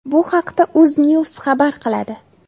Bu haqda Uznews xabar qiladi .